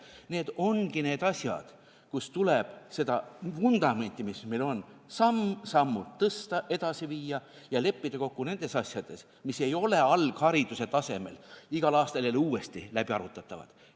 Need ongi need asjad, kus tuleb seda vundamenti, mis meil on, samm-sammult tõsta, kõike seda edasi viia ja leppida kokku nendes asjades, mis ei ole alghariduse tasemel igal aastal jälle uuesti läbiarutatavad.